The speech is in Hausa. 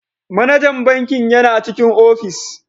Manajan bankin yana cikin ofis.